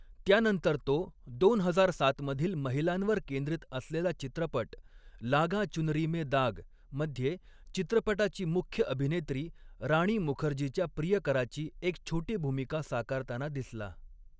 त्यानंतर तो दोन हजार सात मधील महिलांवर केंद्रित असलेला चित्रपट 'लागा चुनरी में दाग' मध्ये चित्रपटाची मुख्य अभिनेत्री राणी मुखर्जीच्या प्रियकराची एक छोटी भूमिका साकारताना दिसला.